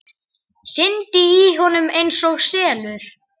Syndi í honum einsog selur.